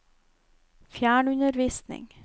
fjernundervisning